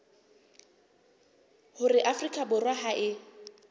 hore afrika borwa ha e